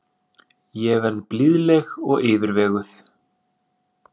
Ég verð blíðleg og yfirveguð.